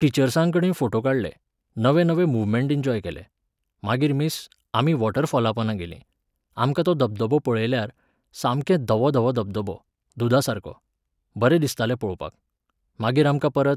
टिचर्सां कडेन फोटे काडले, नवे नवे मुवमेंट एन्जॉय केले. मागीर मिस, आमी वॉटर फॉलापोंदा गेलीं. आमकां तो धबधबो पळयल्यार, सामकें धवो धवो धबधबो, दुदासारको. बरें दिसतालें पळोवपाक. मागीर आमकां परत